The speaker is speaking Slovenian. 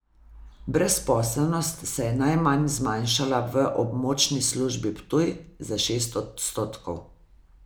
Brezposelnost se je najmanj zmanjšala v območni službi Ptuj, za šest odstotkov.